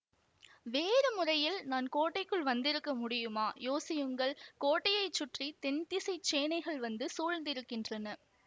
வேறு முறையில் நான் கோட்டைக்குள் வந்திருக்க முடியுமா யோசியுங்கள் கோட்டையைச் சுற்றி தென்திசைச் சேனைகள் வந்து சூழ்ந்திருக்கின்றன